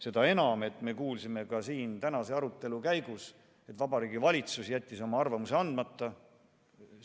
Seda enam, et me kuulsime siin tänase arutelu käigus, et Vabariigi Valitsus jättis oma arvamuse andmata.